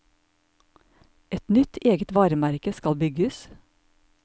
Et nytt, eget varemerke skal bygges.